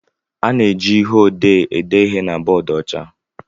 A na-eji ihe odee ede ihe na bọọdụ ọcha